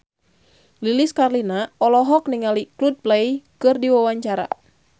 Lilis Karlina olohok ningali Coldplay keur diwawancara